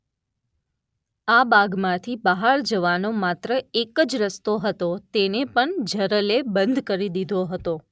આ બાગમાંથી બહાર જવાનો માત્ર એક જ રસ્તો હતો તેને પણ જરલે બંધ કરી દીધો હતો.